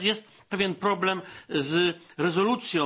Natomiast jest pewien problem z rezolucją.